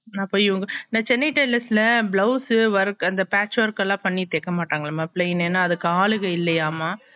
நா போய் சென்னை tailors ல blouse work அந்த patch work எல்லா பண்ணி தைக்கமாட்டாங்கலாம plain என்னா அதுக்கு ஆளுக இல்லையாமா